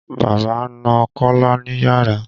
Bàbá na kọ́lá níyàrà.